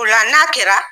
O la n'a kɛra